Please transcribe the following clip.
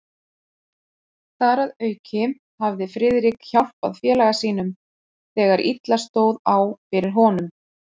Þar að auki hafði Friðrik hjálpað félaga sínum, þegar illa stóð á fyrir honum.